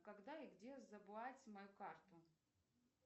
когда и где забрать мою карту